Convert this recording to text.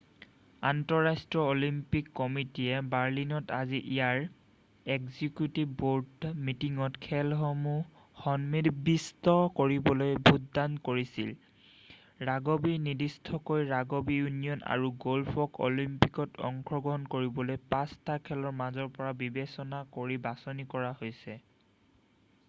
আন্তঃৰাষ্ট্ৰীয় অলিম্পিক কমিটিয়ে বাৰ্লিনত আজি ইয়াৰ এক্সিকিউটিভ বৰ্ড মিটিঙত খেলসমূহ সন্নিৱিষ্ট কৰিবলৈ ভোটদান কৰিছিল৷ ৰাগবি নিৰ্দিষ্টকৈ ৰাগবি ইউনিয়ন আৰু গ'ল্ফক অলিম্পিকত অংশগ্ৰহণ কৰিবলৈ 5 টা খেলৰ মাজৰ পৰা বিবেচনা কৰি বাছনি কৰা হৈছিল৷